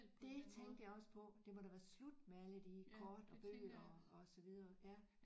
Det tænkte jeg også på det må da være slut med alle de kort og bøger og og så videre ja